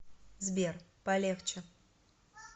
сбер полегче